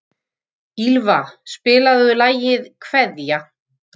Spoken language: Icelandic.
Ýlfa, spilaðu lagið „Kveðja“.